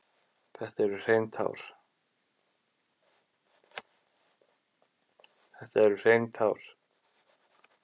Þetta eru hrein tár.